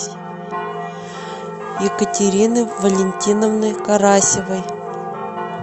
екатерины валентиновны карасевой